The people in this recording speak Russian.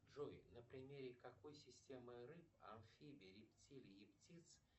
джой на примере какой системы рыб амфибий рептилий и птиц